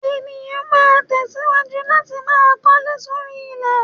Ènìyàn ma tẹ̀síwájú láti máa kọ́lé sóri ilẹ̀.